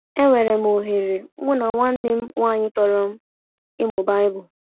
Enwere m oghere mụ na nwanne m nwanyị tọrọ m ịmụ baịbụl.